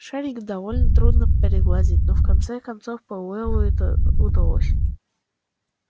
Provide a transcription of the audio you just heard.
шарик довольно трудно пригладить но в конце концов пауэллу это удалось